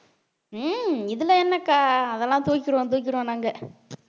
உம் இதுல என்னக்கா அதெல்லாம் தூக்கிருவோம் தூக்கிருவோம் நாங்க